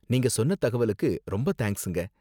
நீங்க சொன்ன தகவலுக்கு ரொம்ப தேங்க்ஸுங்க.